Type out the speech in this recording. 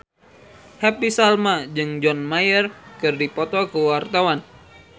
Happy Salma jeung John Mayer keur dipoto ku wartawan